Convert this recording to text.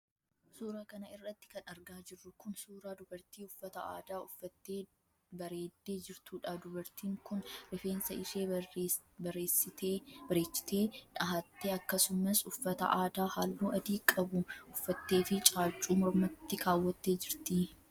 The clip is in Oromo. Suura kana irratti kan argaa jirru kun, suura dubartii uffata aadaa uffattee bareeddee jirtuudha. Dubartiin kun rifeensa ishee bareessitee dhahattee akkasumas uffata aadaa haalluu adii qabu uffattee fi caaccuu mormatti kaawwattee jirti.